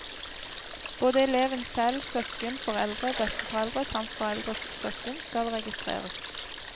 Både eleven selv, søsken, foreldre, besteforeldre samt foreldres søsken skal registreres.